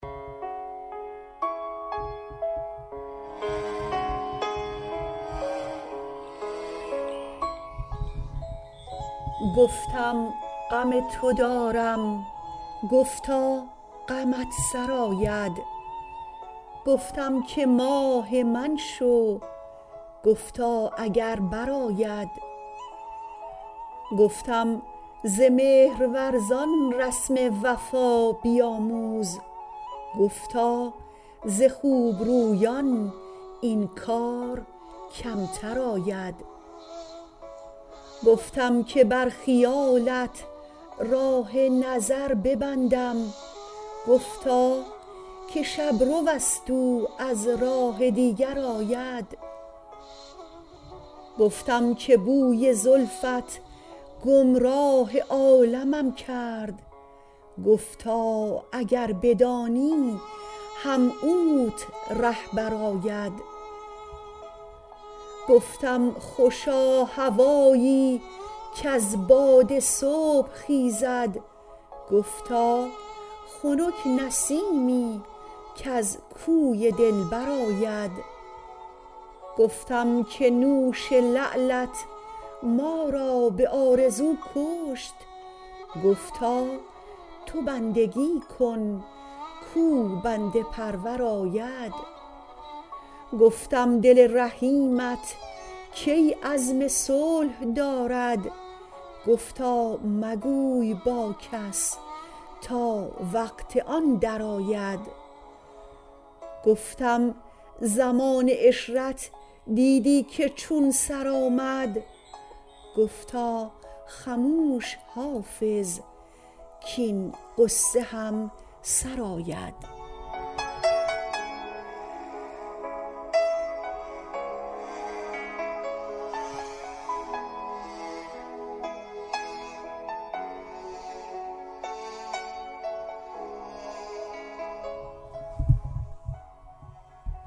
گفتم غم تو دارم گفتا غمت سرآید گفتم که ماه من شو گفتا اگر برآید گفتم ز مهرورزان رسم وفا بیاموز گفتا ز خوب رویان این کار کمتر آید گفتم که بر خیالت راه نظر ببندم گفتا که شب رو است او از راه دیگر آید گفتم که بوی زلفت گمراه عالمم کرد گفتا اگر بدانی هم اوت رهبر آید گفتم خوشا هوایی کز باد صبح خیزد گفتا خنک نسیمی کز کوی دلبر آید گفتم که نوش لعلت ما را به آرزو کشت گفتا تو بندگی کن کاو بنده پرور آید گفتم دل رحیمت کی عزم صلح دارد گفتا مگوی با کس تا وقت آن درآید گفتم زمان عشرت دیدی که چون سر آمد گفتا خموش حافظ کـاین غصه هم سر آید